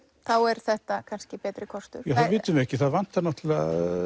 þá er þetta kannski betri kostur já það vitum við ekki það vantar náttúrulega